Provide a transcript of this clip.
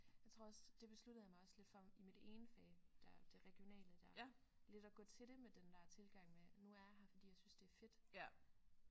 Jeg tror også det besluttede jeg mig også lidt for i mit ene fag der det regionale der lidt at gå til det med den der tilgang med nu er jeg her fordi jeg synes det er fedt